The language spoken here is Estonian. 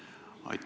Aitäh!